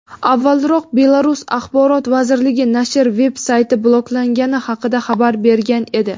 Avvalroq Belarus Axborot vazirligi nashr veb-sayti bloklangani haqida xabar bergan edi.